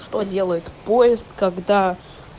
что делает поезд когда